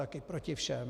Taky Proti všem.